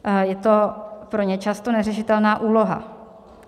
Je to pro ně často neřešitelná úloha.